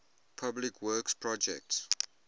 public works projects